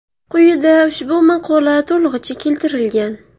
Quyida ushbu maqola to‘lig‘icha keltirilgan.